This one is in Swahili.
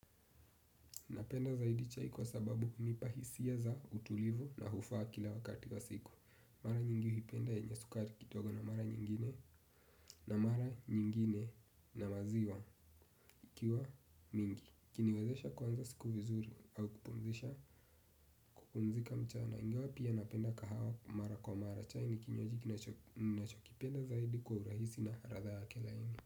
Napenda zaidi chai kwa sababu unipa hisia za utulivu na hufaa kila wakati wa siku. Mara nyingi huipenda yenyesukari kitogo na mara nyingine na mara nyingine na maziwa ikiwa mingi. Kiniwezesha kwanza siku vizuri au kupumzisha kupumzika mchana. Ingawa pia napenda kahawa mara kwa mara chai ni kinywaji ninachokipenda zaidi kwa urahisi na ratha yake laini.